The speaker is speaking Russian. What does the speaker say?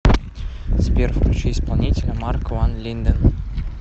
сбер включи исполнителя марк ван линдэн